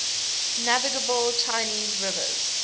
navigable chinese rivers